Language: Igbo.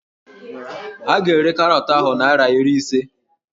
A ga-ere karọọtụ ahụ naịra iri ise